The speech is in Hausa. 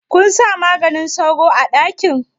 Kunsa maganin sauro a ɗakin?